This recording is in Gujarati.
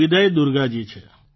વિદય દુર્ગાજી છે